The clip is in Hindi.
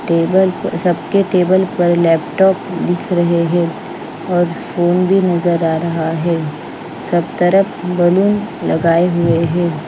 टेबल पर सबके टेबल पर लैपटॉप दिख रहे हैं और फोन भी नजर आ रहा है सब तरफ बलून लगाए हुए हैं।